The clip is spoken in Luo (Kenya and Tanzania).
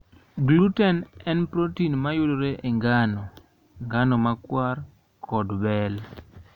Gluten en protin ma yudore e ngano, ngano makwar, kod bel.